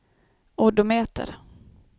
odometer